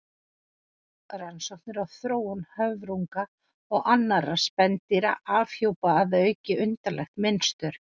Rannsóknir á þróun höfrunga og annarra spendýra afhjúpa að auki undarlegt mynstur.